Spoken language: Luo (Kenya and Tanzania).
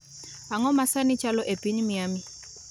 Ang'o ma sani chalo e piny Miami